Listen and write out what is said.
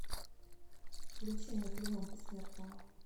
включи мне клинок бессмертного